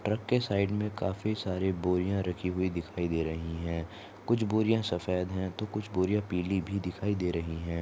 Truck के side मे काफी सारी बोरियाँ रखी हुई दिखाई दे रही है कुछ बोरियाँ सफेद है तो कुछ बोरियाँ पीली भी दिखाई दे रही है।